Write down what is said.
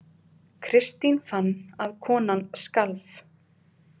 Kristín fann að konan skalf.